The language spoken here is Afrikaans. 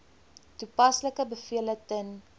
toepaslike bevele ten